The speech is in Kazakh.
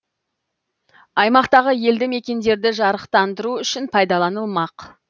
аймақтағы елді мекендерді жарықтандыру үшін пайдаланылмақ